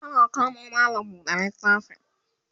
tana kamo mallam buɗe littafi